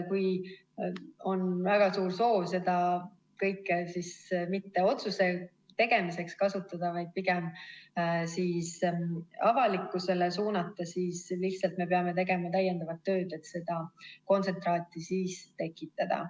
Kui on väga suur soov seda kõike mitte otsuste tegemiseks kasutada, vaid pigem avalikkusele suunata, siis lihtsalt me peame tegema täiendavat tööd, et seda kontsentraati tekitada.